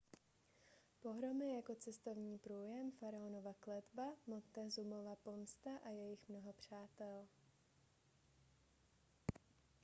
pohromy jako cestovní průjem faraonova kletba montezumova pomsta a jejich mnoho přátel